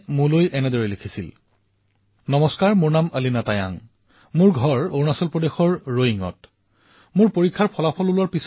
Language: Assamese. এইবাৰ যেতিয়া মোৰ পৰীক্ষাৰ ফলাফল আহিল তেতিয়া কিছুমান লোকে মোক সুধিছিল যে মই এগজাম ৱাৰিয়ৰ্ছ কিতাপখন পঢ়িছিলো নেকি মই কলে যে এই কিতাপখন মই পঢ়া নাই